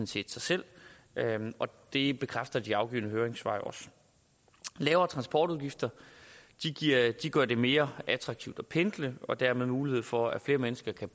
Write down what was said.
set sig selv og det bekræfter de afgivne høringssvar jo også lavere transportudgifter gør det mere attraktivt at pendle og dermed mulighed for at flere mennesker kan